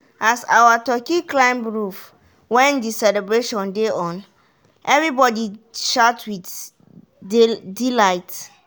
as our turkey climb roof when the celebration dey on-everybody shout with delight.